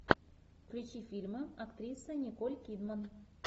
включи фильмы актрисы николь кидман